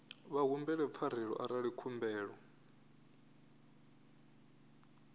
vha humbele pfarelo arali khumbelo